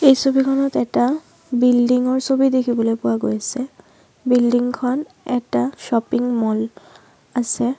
এই ছবিখনত এটা বিল্ডিং ৰ ছবি দেখিবলৈ পোৱা গৈছে বিল্ডিং খন এটা শ্বপিং ম'ল আছে।